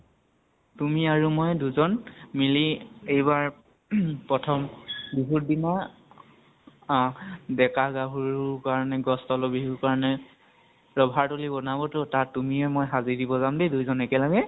তুমি আৰু মই দুজন মিলি এইবাৰ প্ৰথম বিহুৰ দিনা অহ ডেকা গাভৰুৰ কাৰণে গছ তলৰ বিহুৰ কাৰণে ৰভা তলি বনাব ত, তাত তুমিয়ে মই হাবি দিব যাম দেই দুয়োজন একেলগে।